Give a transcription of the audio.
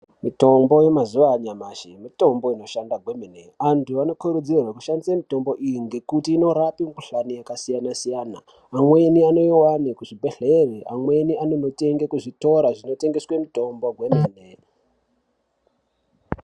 Mitombo yemazuva anyamashi mitombo inshanda kwemene. Anokurudzirwe kushandisa mitombo iyi ngekuti inorape mikuhlani yakasiyana-siyana. Amweni anoivane kuzvibhedhlere, amweni anonotenga kuzvitora zvinotengeswe mitombo hwemene.